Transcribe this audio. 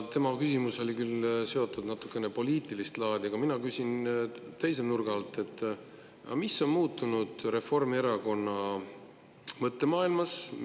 Tema küsimus oli küll natukene poliitilist laadi, aga mina küsin teise nurga alt: mis on muutunud Reformierakonna mõttemaailmas?